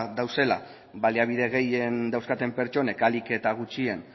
daudela baliabide gehien dauzkaten pertsonek ahalik eta gutxien